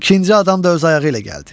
İkinci adam da öz ayağı ilə gəldi.